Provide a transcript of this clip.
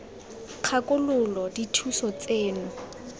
kgakololo j j dithuso tseno